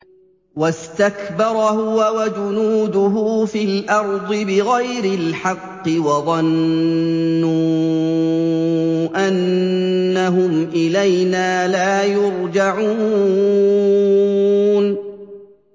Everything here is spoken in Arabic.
وَاسْتَكْبَرَ هُوَ وَجُنُودُهُ فِي الْأَرْضِ بِغَيْرِ الْحَقِّ وَظَنُّوا أَنَّهُمْ إِلَيْنَا لَا يُرْجَعُونَ